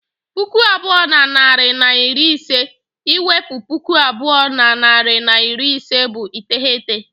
Puku abụọ na narị na iri ise I wepu puku abụọ na narị na iri ise bụ iteghete